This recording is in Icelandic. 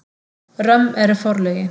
Römm eru forlögin.